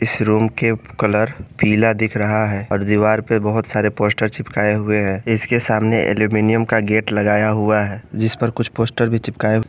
इस रूम के कलर पीला दिख रहा है और दीवार पर बहोत सारे पोस्टर चिपकाए हुए हैं इसके सामने अल्युमिनियम का गेट लगाया हुआ है जिस पर कुछ पोस्टर भी चिपकाए--